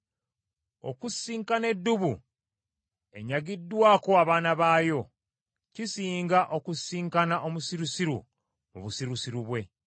Okusisinkana eddubu enyagiddwako abaana baayo, kisinga okusisinkana omusirusiru mu busirusiru bwe.